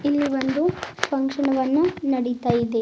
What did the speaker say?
ಇಲ್ಲಿ ಒಂದು ಫಂಕ್ಷನ ವನ್ನು ನಡೀತಾ ಇದೆ.